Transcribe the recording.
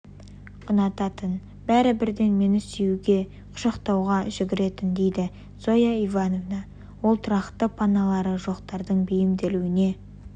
ұнататын бәрі бірден мені сүюге құшақтауға жүгіретін дейді зоя ивановна ол тұрақты паналары жоқтардың бейімделуіне